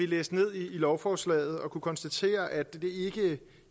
læse ned i lovforslaget og kunne konstatere at det